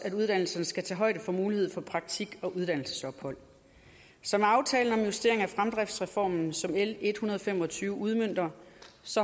at uddannelserne skal tage højde for mulighed for praktik og uddannelsesophold så med aftalen om justering af fremdriftsreformen som l en hundrede og fem og tyve udmønter